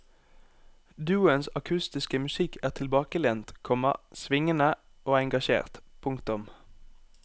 Duoens akustiske musikk er tilbakelent, komma svingende og engasjert. punktum